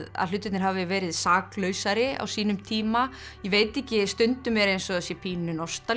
að hlutirnir hafi verið saklausari á sínum tíma ég veit ekki stundum er eins og sé pínu